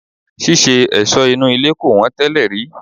Ṣíṣe ẹ̀sọ́ inú ilé kò wọ́n tẹ́lẹ̀ rí.